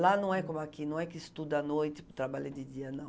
Lá não é como aqui, não é que estuda à noite, trabalha de dia, não.